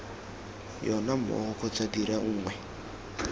yona mmogo kgotsa dira nngwe